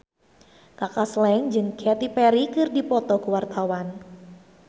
Kaka Slank jeung Katy Perry keur dipoto ku wartawan